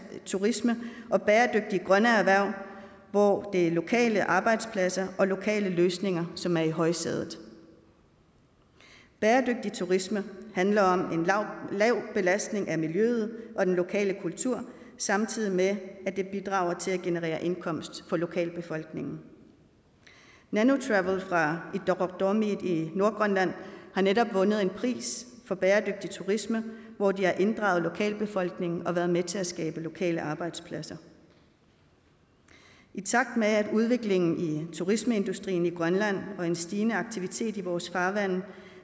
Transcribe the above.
turisme og bæredygtige grønne erhverv hvor det er lokale arbejdspladser og lokale løsninger som er i højsædet bæredygtig turisme handler om en lav belastning af miljøet og den lokale kultur samtidig med at det bidrager til at generere indkomst for lokalbefolkningen nanu travels fra ittoqqortoormiit i nordgrønland har netop vundet en pris for bæredygtig turisme hvor de har inddraget lokalbefolkningen og været med til at skabe lokale arbejdspladser i takt med udviklingen i turismeindustrien i grønland og en stigende aktivitet i vores farvande